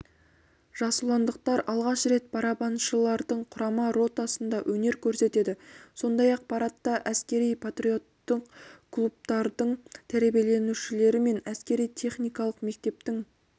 жасұландықтар алғаш рет барабаншылардың құрама ротасында өнер көрсетеді сондай-ақ парадта әскери-патриоттық клубтардың тәрбиеленушілері мен әскери-техникалық мектептің